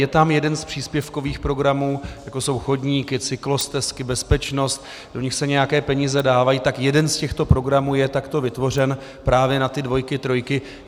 Je tam jeden z příspěvkových programů, jako jsou chodníky, cyklostezky, bezpečnost, do nich se nějaké peníze dávají, tak jeden z těchto programů je takto vytvořen právě na ty dvojky, trojky.